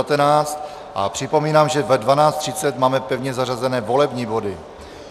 A připomínám, že ve 12.30 máme pevně zařazené volební body.